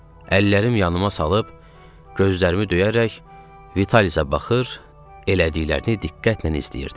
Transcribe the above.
Əllərim yanıma salıb gözlərimi döyərək Vitalisə baxır, elədiklərini diqqətlə izləyirdim.